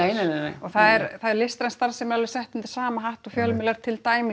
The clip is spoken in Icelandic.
og listræn starfsemi er alveg sett undir sama hatt og fjölmiðlar til dæmis